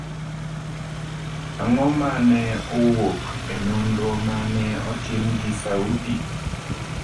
Ang’o ma ne owuok e nonro ma ne otim gi Saudi?